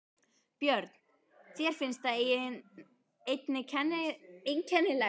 Björn: Þér finnst það einnig einkennilegt?